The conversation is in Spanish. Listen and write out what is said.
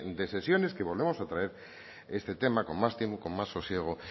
de sesiones que volvemos a traer este tema con más tiempo con más sosiego